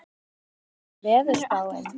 Tjörvi, hvernig er veðurspáin?